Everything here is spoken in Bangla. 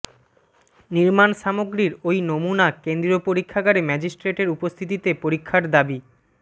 নির্মাণ সামগ্রীর ওই নমুনা কেন্দ্রীয় পরীক্ষাগারে ম্যাজিস্ট্রেটের উপস্থিতিতে পরীক্ষার দাবি